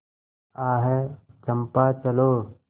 आह चंपा चलो